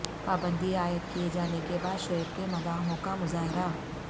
پابندی عائد کیے جانے کے بعد شعیب کےمداحوں کا مظاہرہ